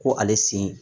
Ko ale sen